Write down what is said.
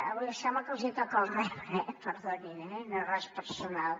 avui sembla que els hi toca el rebre eh perdonin eh no és res personal